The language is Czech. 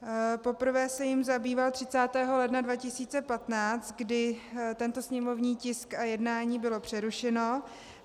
Poprvé se jím zabýval 30. ledna 2015, kdy tento sněmovní tisk a jednání bylo přerušeno.